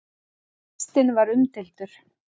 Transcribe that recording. Listinn var umdeildur.